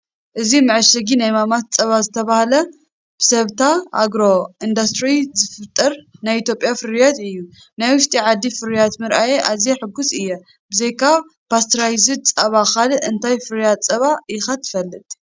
እዚ መዐሸጊ ናይ ማማስ ጸባ ዝተባህለ ብሰበታ ኣግሮ ኢንዳስትሪ ዝፍጠር ናይ ኢትዮጵያ ፍርያት እዩ። ናይ ውሽጢ ዓዲ ፍርያት ምርኣየይ ኣዝየ ሕጉስ እየ፤ ብዘይካ ፓስተራይዝድ ጸባ ካልእ እንታይ ፍርያት ጸባ ኢኻ ትፈልጥ?